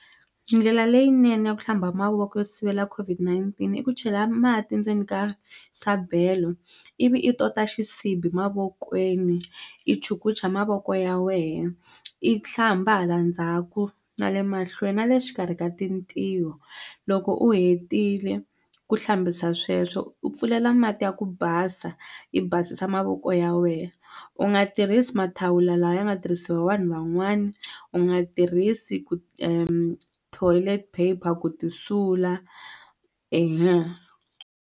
Ndlela leyinene ya ku hlamba mavoko yo sivela COVID-19 i ku chela mati ndzeni ka sabelo ivi i tota xisibi mavokweni i chukucha mavoko ya wehe i hlamba hala ndzhaku na le mahlweni na le xikarhi ka tintiho loko u hetile ku hlambisa sweswo u pfulela mati ya ku basa i basisa mavoko ya wehe u nga tirhisi mathawula lawa ya nga tirhisiwa vanhu van'wani u nga tirhisi ku toilet paper ku ti sula .